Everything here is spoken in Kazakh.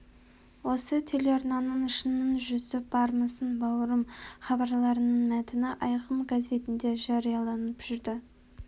осы телеарнаның шынның жүзі бармысың бауырым хабарларының мәтіні айқын газетінде жарияланып жүрді